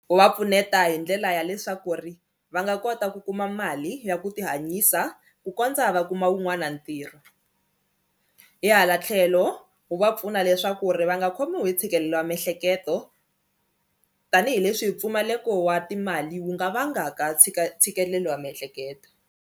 U va pfuneta hi ndlela ya leswaku ri va nga kota ku kuma mali ya ku ti hanyisa ku kondza va kuma wun'wana ntirho hi hala tlhelo wu va pfuna leswaku ri va nga khomiwi hi ntshikelelo wa miehleketo tanihileswi hi mpfumaleko wa timali wu nga vangaka ntshikelelo wa miehleketo.